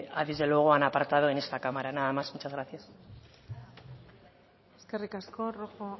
desde luego han aportado en esta cámara nada más muchas gracias eskerrik asko rojo